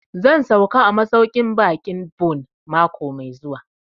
Zan sauka a masauƙin baƙin Bon mako mai zuwa